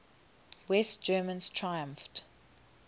west germans triumphed